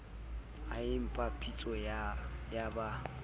a epa pitso ya ba